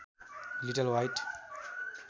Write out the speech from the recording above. little white